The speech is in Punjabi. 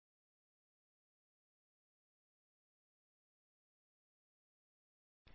ਅਸੀ ਇਸ ਟਿਊਟੋਰਿਅਲ ਦੇ ਅੰਤ ਉੱਤੇ ਪਹੁੰਚ ਗਏ ਹਾਂ